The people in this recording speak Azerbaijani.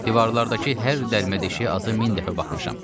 Divardakı hər dəlmə deşiyə azı min dəfə baxmışam.